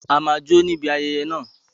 A máa jó níbi ayẹyẹ náà